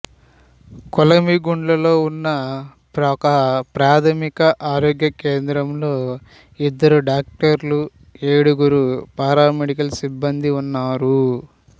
కొలిమిగుండ్లలో ఉన్న ఒకప్రాథమిక ఆరోగ్య కేంద్రంలో ఇద్దరు డాక్టర్లు ఏడుగురు పారామెడికల్ సిబ్బందీ ఉన్నారు